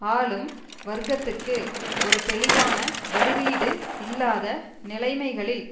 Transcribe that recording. ஆளும் வர்க்கத்துக்கு ஒரு தெளிவான பதிலீடு இல்லாத நிலைமைகளில்